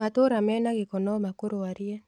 Matũra mena gĩko nomakũrwarie.